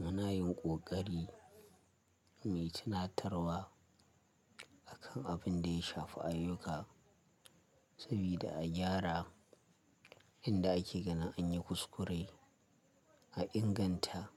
Muna yin ƙoƙari mu yi tunatarwa akan abin da ya shafi ayyuka saboda a gyara inda ake ganin an yi kuskure a inganta